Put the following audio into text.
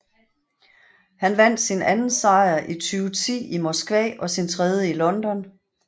Han vandt sin anden sejr i 2010 i Moskva og sin tredje i London